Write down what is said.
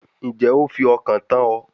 Ǹjẹ́ o fi ọkàn tán ọ